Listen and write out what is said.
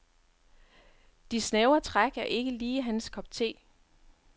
De snævre træk er ikke lige hans kop te.